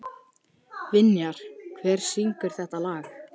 Vinjar, hver syngur þetta lag?